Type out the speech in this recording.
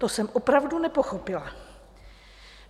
To jsem opravdu nepochopila.